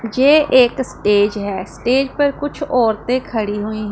ये एक स्टेज है स्टेज पर कुछ औरते खड़ी हुईं--